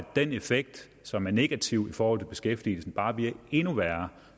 den effekt som er negativ i forhold til beskæftigelsen bare bliver endnu værre